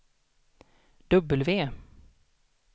W